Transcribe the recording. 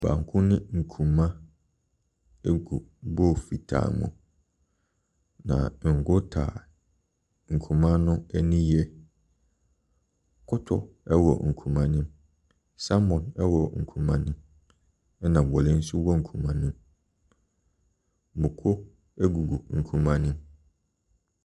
Banku ne nkuruma egu bowl fitaa mu na ngu tae nkuruma no ani yie. Kɔtɔ ɛwɔ nkuruma nim, salmon ɛwɔ nkuruma nim ɛna wele nso wɔ nkuruma ne mu. mako egugu nkuruma nim.